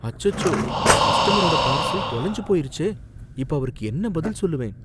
அச்சசோ, கஸ்டமரோட பார்சல் தொலைஞ்சு போயிருச்சே, இப்ப அவருக்கு என்ன பதில் சொல்லுவேன்!